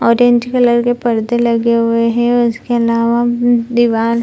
orange colour की पर्दे लगे हुए हैं उसके अलावा मम दीवाल --